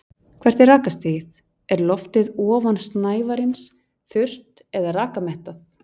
Hvert er rakastigið, er loftið ofan snævarins þurrt eða rakamettað?